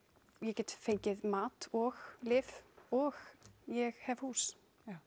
ég get fengið mat og lyf og ég hef hús